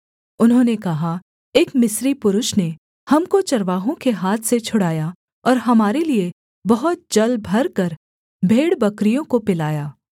उन्होंने कहा एक मिस्री पुरुष ने हमको चरवाहों के हाथ से छुड़ाया और हमारे लिये बहुत जल भरकर भेड़बकरियों को पिलाया